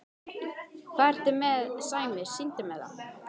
Hvað ertu með Sæmi, sýndu mér það!